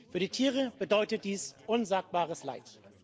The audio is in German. Für die Tiere bedeutet dies unsagbares Leid.